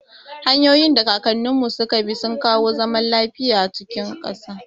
Hanyoyin da kakanninmu suka bi sun kawo zaman lafiya a cikin ƙasa.